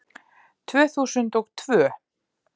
Tvö þúsund og tvö